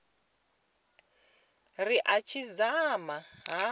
ri a tshi dzama ha